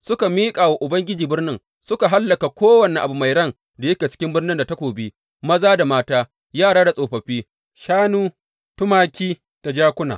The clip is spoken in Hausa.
Suka miƙa wa Ubangiji birnin, suka hallaka kowane abu mai ran da yake cikin birnin da takobi, maza da mata, yara da tsofaffi, shanu, tumaki da jakuna.